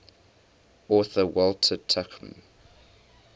author walter tuchman